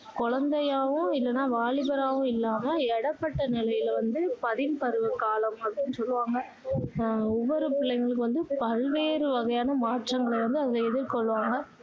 குழந்தையாவும் இல்லன்னா வாலிபராவும் இல்லாம இடைப்பட்ட நிலையில வந்து பதின் பருவ காலம் அப்படின்னு சொல்லுவாங்க அஹ் ஒவ்வொரு பிள்ளைகள் வந்து பல்வேறு வகையான மாற்றங்கள வந்து அதுல எதிர்கொள்வாங்க